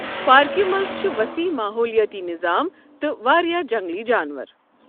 پاركہِ منز چھ وصیح ماحولیٲتی نِظام تہٕ واریاہ جَنٛگلی جانور ۔